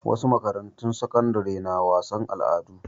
Wasu makarantu sakandare na wasan al'adu.